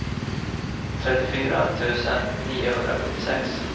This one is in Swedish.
trettiofyra tusen niohundrasjuttiosex